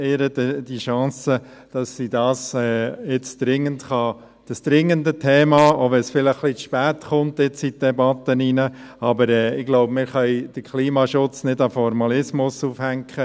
Geben wir ihr die Chance, dieses dringende Thema, auch wenn dieses vielleicht etwas spät in die Debatte gelangt, … Ich glaube, wir können den Klimaschutz nicht am Formalismus aufhängen.